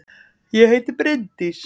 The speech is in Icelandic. Ég heiti Bryndís!